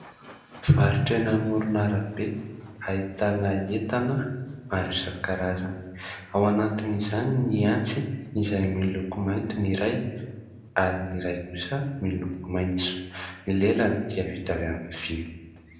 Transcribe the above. Varotra eny amoronarabe ahitana entana maro isakarazany, ao anatiny izany ny antsy izay miloko mainty ny iray ary ny iray kosa miloko maitso ny lelany dia vita amin'ny vy.